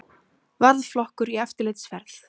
Varðflokkur í eftirlitsferð.